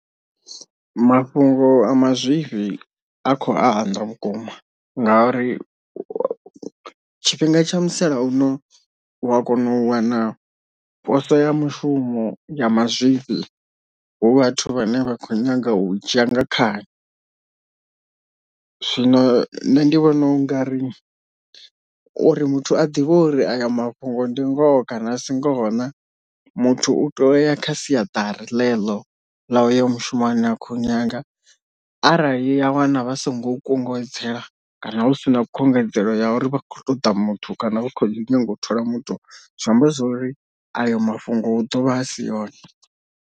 Mafhungo a mazwifhi a kho anda vhukuma ngauri tshifhinga tsha musalauno u a kona u wana poso ya mushumo ya mazwifhi hu vhathu vhane vha kho nyaga u u dzhia nga khani, zwino nṋe ndi vhona u nga ri uri muthu a ḓivhe uri ayo mafhungo ndi ngoho kana a si ngoho na muthu u tea uto ya kha siaṱari ḽe ḽo ḽa uyo mushumoni akhou nyaga arali a wana vha songo kunguwedzela kana hu si na khungedzelo ya uri vha kho ṱoḓa muthu kana vha khou nyanga u thola muthu zwi amba zwori ayo mafhungo hu dovha a si one.